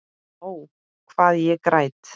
Ó, hvað ég græt.